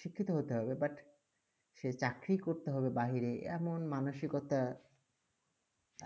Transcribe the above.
শিক্ষিত হতে হবে but সে চাকরীই করতে হবে বাহিরে, এমন মানসিকতা